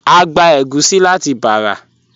A gbà ègúsì láti Bàrà.